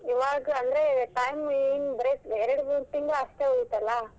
ಇವಾಗ್ ಅಂದ್ರೆ time ಇನ್ ಬರೇ ಎರಡ ಮೂರ್ ತಿಂಗಳ್ ಅಷ್ಟೇ ಉಳಿತಲ್ಲ?